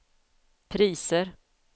priser